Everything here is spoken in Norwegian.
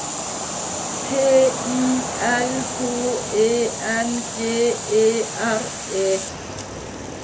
T I L H E N G E R E